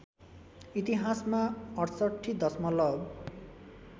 इतिहासमा ६८ दशमलब